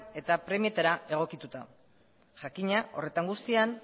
eta premietara egokituta jakina horretan guztian